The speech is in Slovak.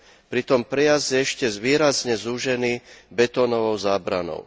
Pritom prejazd je ešte výrazne zúžený betónovou zábranou.